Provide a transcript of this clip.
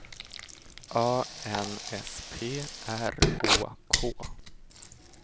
A N S P R Å K